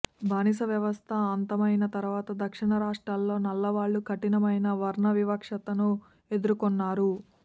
బానిస వ్యవస్థ అంతమయిన తర్వాత దక్షిణ రాష్ట్రాల్లో నల్లవాళ్లు కఠినమైన వర్ణవివక్షను ఎదురుకొన్నారు